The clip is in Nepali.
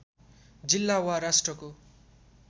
जिल्ला वा राष्ट्रको